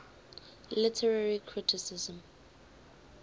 literary criticism